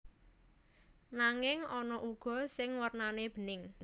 Nanging ana uga sing wernane bening